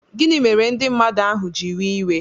Gịnị mere ndị mmadụ ahu ji wee iwe?